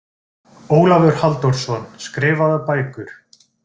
Ólafur Halldórsson, Skrifaðar bækur